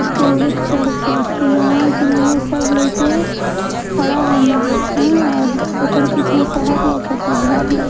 स्टेजे पर चढ़ के किनरवा किनरवा सब लाइकवे खड़ा बाने हाँ ओकरे पीछे शहर लउकता घर लउ--